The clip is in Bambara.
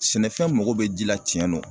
Sɛnɛfɛn mago bɛ ji la tiɲɛ no